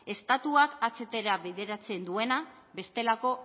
estatuak ahtra bideratzen duena bestelako